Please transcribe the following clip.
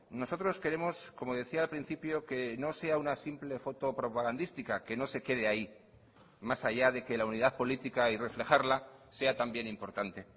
nosotros queremos como decía al principio que no sea una simple foto propagandística que no se quede ahí más allá de que la unidad política y reflejarla sea también importante